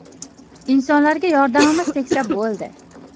Insonlarga yordamimiz tegsa bo‘ldi.